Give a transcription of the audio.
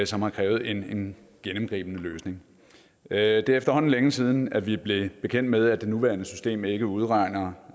som har krævet en gennemgribende løsning det er efterhånden længe siden vi blev bekendt med at det nuværende system ikke udregner